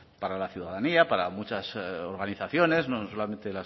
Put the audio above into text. para la ciudadanía para muchas organizaciones no solamente